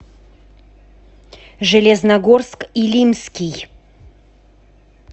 железногорск илимский